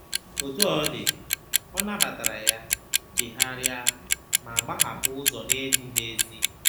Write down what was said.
Otú ọ dị, ọ nabatara ya, chegharịa, ma gbahapụ ụzọ na-ezighị ezi.